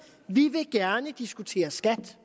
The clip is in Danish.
vi vil gerne diskutere skat